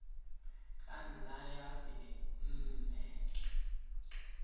ka nna ya se nne